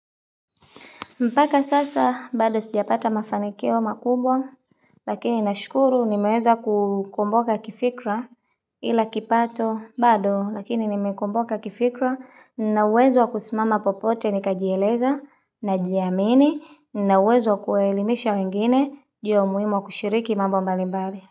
Mpaka sasa bado sijapata mafanikio makubwa lakini nashukuru nimeweza kukomboka kifikra ila kipato bado lakini nimekomboka kifikra na uwezo kusimama popote nika jieleza na jiamini na uwezo kuwaelimisha wengine ju ya umuhimu wa kushiriki mambo mbalimbali.